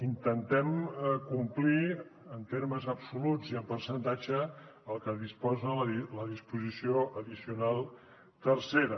intentem complir en termes absoluts i en percentatge el que disposa la disposició addicional tercera